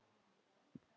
Það kemur og fer.